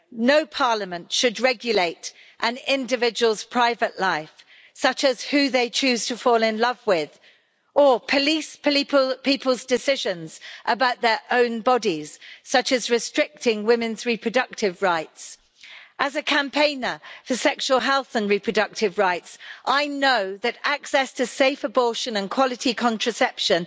No parliament should regulate an individual's private life, such as who they choose to fall in love with, or police people's decisions about their own bodies, such as restricting women's reproductive rights. As a campaigner for sexual health and reproductive rights, I know that access to safe abortion and quality contraception